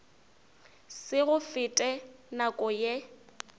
se go fete nako ye